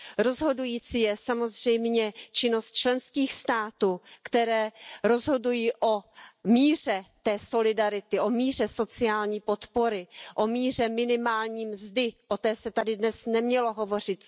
Rozhodující je samozřejmě činnost členských států, které rozhodují o míře té solidarity, o míře sociální podpory, o míře minimální mzdy, o té se tady dnes nemělo hovořit.